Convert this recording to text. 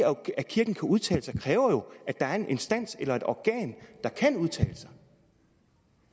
at kirken kan udtale sig jo kræver at der er en instans eller et organ der kan udtale sig